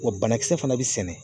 Wa banakisɛ fana bi sɛnɛ